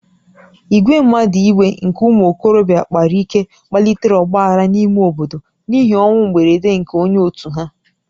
Ìgwè mmadụ iwe nke ụmụ okorobịa kpara ike kpalitere ọgba aghara n'ime obodo n'ihi ọnwụ mberede nke onye òtù ha